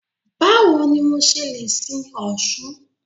Báwo ni mo ṣe le sin Ọ̀ṣun?